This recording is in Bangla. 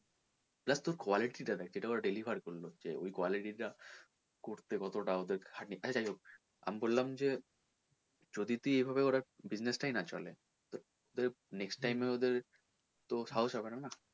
just ওর quality টা দেখ যেটা ওরা deliver করলো ওই quality টা করতে ওদের কতোটা খাটনি হলো যাইহোক আমি বললাম যে যদি তুই এভাবে ওরা business টাই না চলে তো, তো next time এ ওনার সাহস হবে না না?